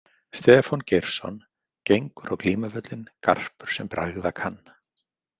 Stefán Geirsson Gengur á glímuvöllinn garpur sem bregða kann.